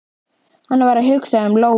Hann var að hugsa um Lóu.